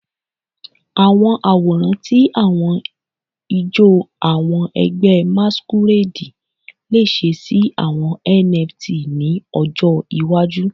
Awọn aworan ti awọn ijó awọn ẹgbẹ masquerade le ṣe si awọn NFT ni ojo iwaju